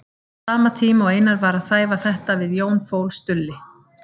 Á sama tíma og Einar var að þæfa þetta við Jón fól Stulli